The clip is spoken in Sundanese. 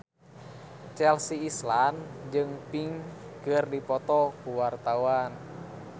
Chelsea Islan jeung Pink keur dipoto ku wartawan